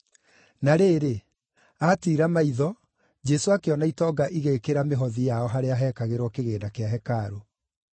Na rĩrĩ, aatiira maitho, Jesũ akĩona itonga igĩĩkĩra mĩhothi yao harĩa heekagĩrwo kĩgĩĩna kĩa hekarũ.